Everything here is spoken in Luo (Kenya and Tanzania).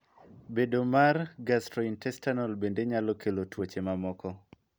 Bedo mar Gastrointestinal bende nyalo kelo tuoche mamoko.